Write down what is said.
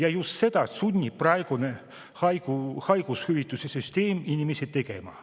Aga just seda sunnib praegune haigushüvitiste süsteem inimesi tegema.